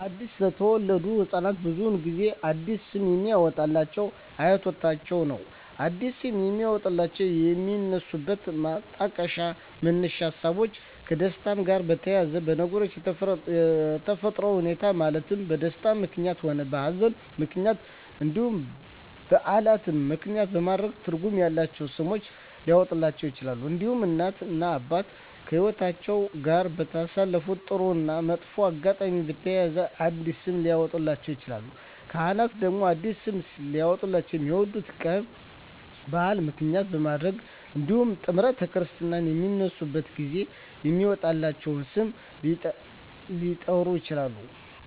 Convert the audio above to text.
አዲስ ለተወለዱ ህፃናት ብዙውን ጊዜ አዲስ ስም የሚያወጡሏቸው አያቶቻቸውን ነው አዲስ ስም የሚያወጧላቸው የሚነሱበት ማጣቀሻ መነሻ ሀሳቦች ከደስታቸው ጋር በተያያዘ በነገሮች በተፈጠረ ሁኔታዎች ማለትም በደስታም ምክንያትም ሆነ በሀዘንም ምክንያት እንዲሁም በዓላትን ምክንያትም በማድረግ ትርጉም ያላቸው ስሞች ሊያወጡላቸው ይችላሉ። እንዲሁም እናት እና አባት ከህይወትአቸው ጋር ባሳለፉት ጥሩ እና መጥፎ አጋጣሚ በተያያዘ አዲስ ስም ሊያወጡላቸው ይችላሉ። ካህናት ደግሞ አዲስ ስም ሊያወጡላቸው የሚወለዱበት ቀን በዓል ምክንያት በማድረግ እንዲሁም ጥምረተ ክርስትና በሚነሱበት ጊዜ በሚወጣላቸው ስም ሊጠሩ ይችላሉ።